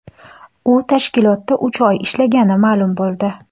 U tashkilotda uch oy ishlagani ma’lum bo‘ldi.